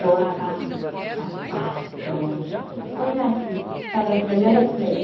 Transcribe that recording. doava sapatos, coisas assim, para os melhores prêmios.